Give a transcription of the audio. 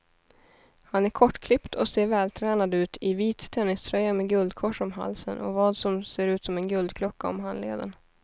Han är kortklippt och ser vältränad ut i vit tenniströja med guldkors om halsen och vad som ser ut som en guldklocka om handleden.